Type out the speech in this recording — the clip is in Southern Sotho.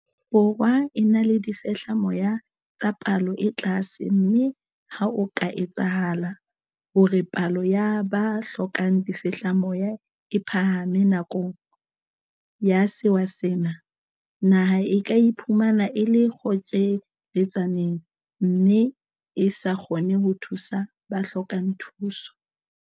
Borwa e na le difehlamoya tsa palo e tlase mme ha ho ka etsahala hore palo ya ba hlokang difehlamoya e phahame nakong ya sewa sena, naha e ka iphumana e le kgotjhe-letsaneng mme e sa kgone ho thusa ba hlokang thuso.